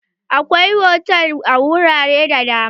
Akwai hotal a wurare da dama.